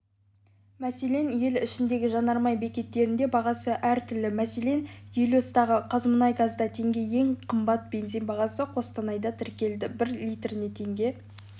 мәселен ел ішіндегі жанармай бекеттерінде бағасы әртүрлі мәселен гелиоста қазмұнайгазда теңге ең қымбат бензин бағасы қостанайда тіркелді бір литріне теңге